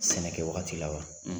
Sɛnɛkɛ wagati la wa